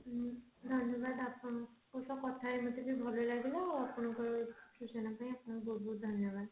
ଧନ୍ୟବାଦ ଆପଣଙ୍କ ସହ କଥା ହେଇ ମତେ ବହୁତ ଭଲ ଲାଗିଲା ଆଉ ଆପଣଙ୍କ ସୂଚନା ପାଇଁ ଆପଣଙ୍କୁ ବହୁତ ବହୁତ ଧନ୍ୟବାଦ